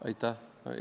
Aitäh!